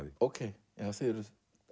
ókei þið eruð